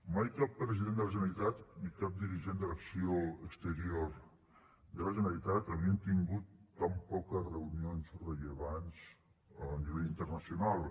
mai cap president de la generalitat ni cap dirigent de l’acció exterior de la generalitat havien tingut tan poques reunions rellevants a nivell internacional